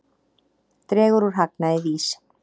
Dregur úr hagnaði VÍS